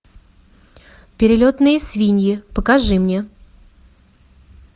перелетные свиньи покажи мне